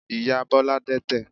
Ìyá Bọ́lá dẹ́tẹ̀.